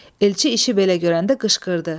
Elçi işi belə görəndə qışqırdı.